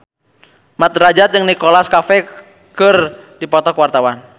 Mat Drajat jeung Nicholas Cafe keur dipoto ku wartawan